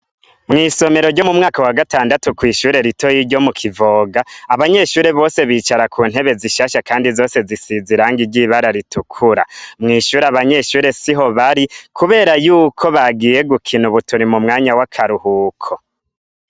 Mw'isomero ryo mu mwaka wa gatandatu kw'ishure ritoyi ryo mu Kivoga, abanyeshure bose bicara kuntebe zishasha kandi zose zisize irangi ry'ibara ritukura, mw'ishure abanyeshure siho bari kubera yuko bagiye gukina ubu turi mu mwanya wa karuhuko.